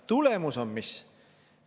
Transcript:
Tulemus on mis?